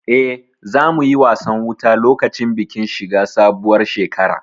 Eh, za mu yi wasan wuta lokacin bikin shiga sabuwar shekara